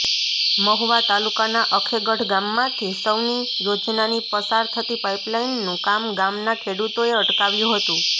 મહુવા તાલુકાના અખેગઢ ગામમાંથી સૌની યોજનાની પસાર થતી પાઈપલાઈનનું કામ ગામના ખેડૂતોએ અટકાવ્યુ હતુ